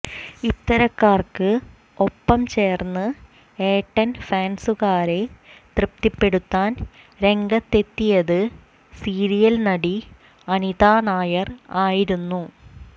ഇത്തരക്കാർക്ക് ഒപ്പം ചേർന്ന് ഏട്ടൻ ഫാൻസുകാരെ തൃപ്തിപ്പെടുത്താൻ രംഗത്തെത്തിയത് സീരിയൽ നടി അനിതാ നായർ ആയിരുന്നു